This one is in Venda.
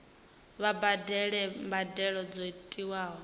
vha badele mbadelo dzo tiwaho